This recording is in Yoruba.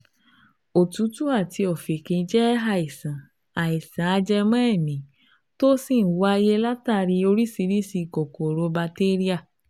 Òtútù àti ọ̀fìnkì jẹ́ àìsàn àìsàn ajẹmọ́ èémí tó sì ń wáyé látàrí oríṣiríṣi kòkòrò batéríà